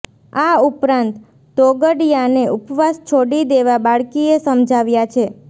આ ઉપરાંત તોગડિયાને ઉપવાસ છોડી દેવા બાળકીએ સમજાવ્યા છે